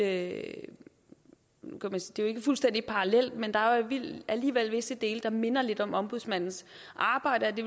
ikke fuldstændig parallelt men der er alligevel visse dele der minder lidt om ombudsmandens arbejde og det